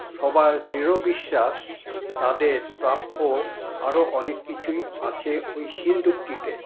সবার দৃঢ় বিশ্বাস তাদের প্রাপ্য আরো অনেক কিছুই আছে ঐ সিন্ধুকটিতে।